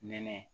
Nɛnɛ